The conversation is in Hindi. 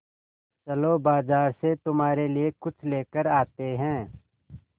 चलो बाज़ार से तुम्हारे लिए कुछ लेकर आते हैं